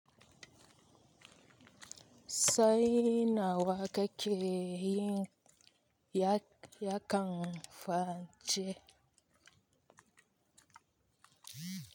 Saina waƙeƙe naya ya kan fance.